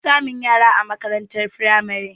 An fi samun yara a makarantar firamare